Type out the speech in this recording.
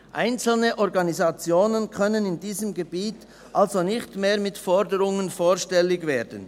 einzelne Organisationen können in diesem Gebiet also nicht mehr mit Forderungen vorstellig werden.